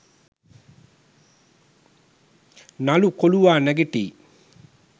නළු කොලුවා නැගිටියි